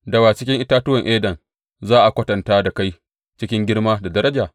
Da wa cikin itatuwan Eden za a kwatanta da kai cikin girma da daraja?